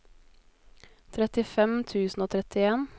trettifem tusen og trettien